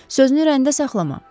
Sözünü ürəyində saxlama.